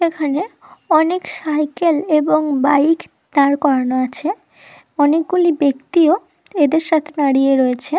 এখানে অনেক সাইকেল এবং বাইক দাঁড় করানো আছে অনেকগুলি ব্যক্তিও এদের সাথে দাঁড়িয়ে রয়েছে।